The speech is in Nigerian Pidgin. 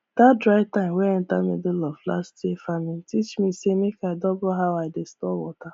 that dry time wey enter middle of last year farming teach me say make i double how i dey store water